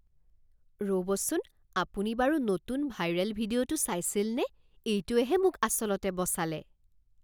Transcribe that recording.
ৰ'বচোন আপুনি বাৰু নতুন ভাইৰেল ভিডিঅ'টো চাইছিলনে? এইটোৱেহে মোক আচলতে বচালে!